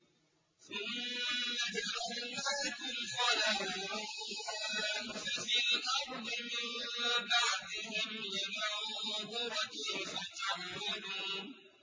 ثُمَّ جَعَلْنَاكُمْ خَلَائِفَ فِي الْأَرْضِ مِن بَعْدِهِمْ لِنَنظُرَ كَيْفَ تَعْمَلُونَ